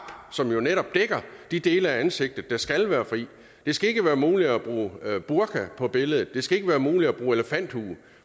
som jo netop dækker de dele af ansigtet der skal være fri det skal ikke være muligt at bruge burka på billedet det skal ikke være muligt at bruge elefanthue